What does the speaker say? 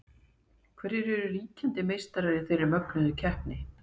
Hverjir eru ríkjandi meistarar í þeirri mögnuðu keppni?